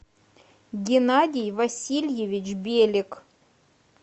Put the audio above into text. геннадий васильевич белик